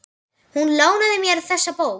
Hún lánaði mér þessa bók.